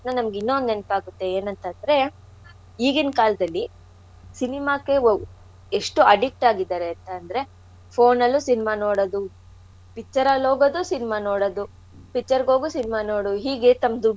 ಇನ್ನಾ ಒಂದ್ ನೆನ್ಪಾಗ್ತಿದೆ ಏನ್ ಅಂತ ಅಂದ್ರೆ ಈಗಿನ್ ಕಾಲ್ದಲ್ಲಿ cinema ಕ್ಕೆ ಒಬ್~ ಎಷ್ಟು addict ಆಗಿದಾರೆ ಅಂತಂದ್ರೆ phone ಅಲ್ಲೂ cinema ನೋಡದು picture ಅಲ್ ಹೋಗದು cinema ನೋಡದು picture ಗ್ ಹೋಗು cinema ನೋಡು ಹೇಗೆ ತಮ್ಮ್ ದುಡ್ನೆಲ್ಲಾ.